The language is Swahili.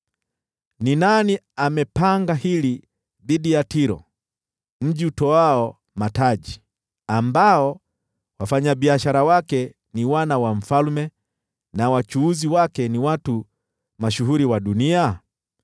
Ni nani amepanga hili dhidi ya Tiro, mji utoao mataji, ambao wafanyabiashara wake ni wana wa mfalme na wachuuzi wake ni watu mashuhuri wa dunia?